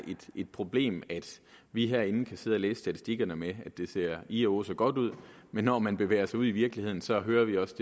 et problem at vi herinde kan sidde og læse statistikkerne med at det ser ih og åh så godt ud men når man bevæger sig ud i virkeligheden så hører vi også